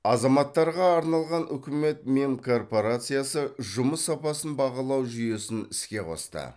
азаматтарға арналған үкімет мемкорпорациясы жұмыс сапасын бағалау жүйесін іске қосты